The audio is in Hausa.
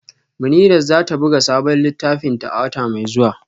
Munirat za ta buga sabon littafinta a wata mai zuwa